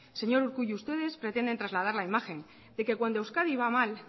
señor urkullu ustedes pretenden trasladar la imagen de que cuando euskadi va mal